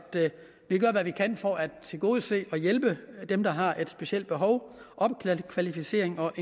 vi gør hvad vi kan for at tilgodese og hjælpe dem der har et specielt behov opkvalificering og